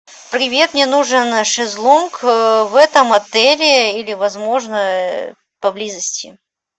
привет мне нужен шезлонг в этом отеле или возможно поблизости